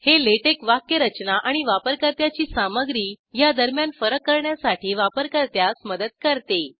हे लॅटेक्स वाक्यरचना आणि वापरकर्त्याची सामग्री ह्या दरम्यान फरक करण्यासाठी वापरकर्त्यास मदत करते